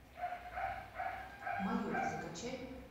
майор закачай